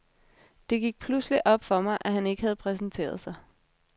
Det gik pludselig op for mig, at han ikke havde præsenteret sig.